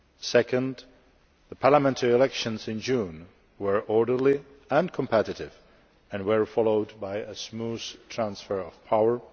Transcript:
Secondly, the parliamentary elections in June were orderly and competitive and were followed by a smooth transfer of power.